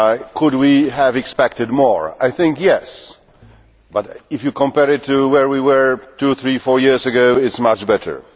Could we have expected more? I think yes, but if you compare it to where we were two, three or four years ago, it is much better.